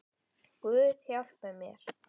Guð hjálpi mér.